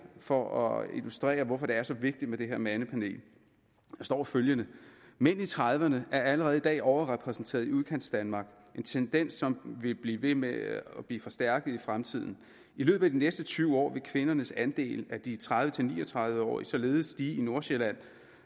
for at illustrere hvorfor det er så vigtigt med det her mandepanel der står følgende mænd i trediverne er allerede i dag overrepræsenteret i udkantsdanmark en tendens som vil blive ved med at blive forstærket i fremtiden i løbet af de næste tyve år vil kvinders andel af de tredive til ni og tredive årige således stige i nordsjælland